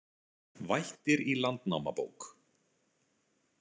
„Vættir í Landnámabók.“